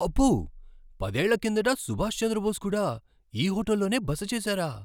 అబ్బో! పదేళ్ల కిందట సుభాష్ చంద్రబోస్ కూడా ఈ హోటల్లోనే బస చేసారా?